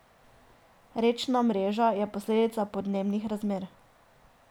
Rečna mreža je posledica podnebnih razmer.